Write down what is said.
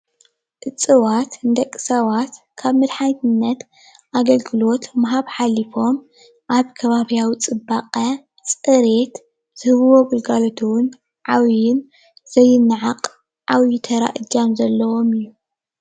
እፅዋት ንደቂ ሰባት ካብ መድሓኒትነት ኣገልግሎት ምሃብ ሓሊፎም ኣብ ከባቢያዊ ፅባቀ ፅሬት ዝህብዎ ግልጋሎት እውን ዓብይን ዘይነዓቅ ዓብይ ተራ እጃም ዘለዎም እዩ።